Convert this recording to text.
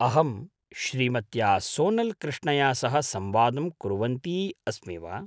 अहं श्रीमत्या सोनल् कृष्णया सह संवादं कुर्वन्ती अस्मि वा?